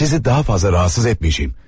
Sizi daha fazla rahatsız etməyəcəyəm.